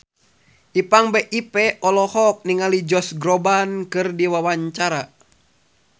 Ipank BIP olohok ningali Josh Groban keur diwawancara